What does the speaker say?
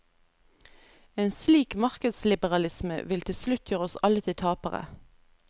En slik markedsliberalisme vil til slutt gjøre oss alle til tapere.